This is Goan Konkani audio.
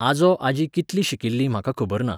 आजो आजी कितली शिकिल्लीं म्हाका खबर ना.